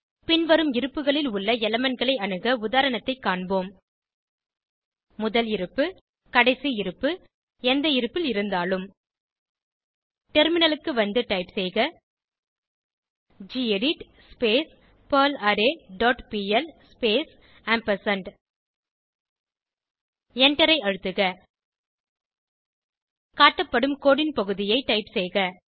பின்வரும் இருப்புகளில் உள்ள எலிமெண்ட் களை அணுக உதாரணத்தைக் காண்போம் முதல் இருப்பு கடைசி இருப்பு எந்த இருப்பில் இருந்தாலும் டெர்மினலுக்கு வந்து டைப் செய்க gedit perl array dot pl space ampersand எண்டரை அழுத்துக காட்டப்படும் கோடு ன் பகுதியை டைப் செய்க